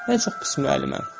Mən çox pis müəlliməm.